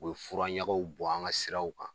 U bɛ furaɲagaw bɔn an ŋa siraw kan.